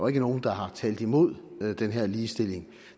er nogen der har talt imod den her ligestilling